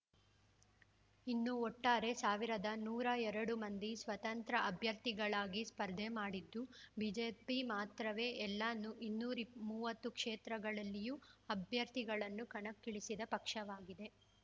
ಇನ್ನು ಒಟ್ಟಾರೆ ಸಾವಿರದ ನೂರ ಎರಡು ಮಂದಿ ಸ್ವತಂತ್ರ ಅಭ್ಯರ್ಥಿಗಳಾಗಿ ಸ್ಪರ್ಧೆ ಮಾಡಿದ್ದು ಬಿಜೆಪಿ ಮಾತ್ರವೇ ಎಲ್ಲ ನೂ ಇನ್ನೂರ ಮೂವತ್ತು ಕ್ಷೇತ್ರಗಳಲ್ಲಿಯೂ ಅಭ್ಯರ್ಥಿಗಳನ್ನು ಕಣಕ್ಕಿಳಿಸಿದ ಪಕ್ಷವಾಗಿದೆ